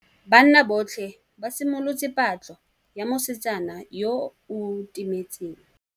Banna botlhê ba simolotse patlô ya mosetsana yo o timetseng.